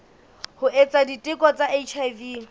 ho etsa diteko tsa hiv